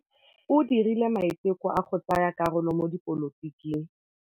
O dirile maitekô a go tsaya karolo mo dipolotiking.